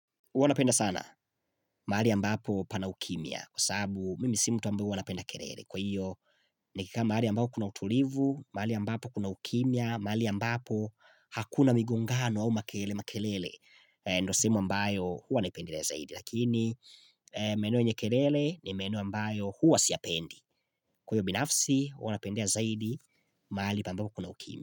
Huwa napenda sana, mahali ambapo pana ukimya, kwa sababu mimi si mtu ambaye huwa anapenda kelele. Kwa hiyo, nikika mahali ambapo kuna utulivu, mahali ambapo kuna ukimya, mahali ambapo hakuna migongano au makelele, makelele, ndio sehemu ambayo huwa naipendelea zaidi. Lakini, maeneo yenye kelele ni maeneo ambayo huwa siyapendi. Kwa hiyo binafsi, huwa napendea zaidi, mahali ambapo kuna ukimya.